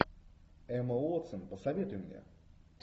эмма уотсон посоветуй мне